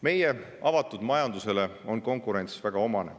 Meie avatud majandusele on konkurents väga omane.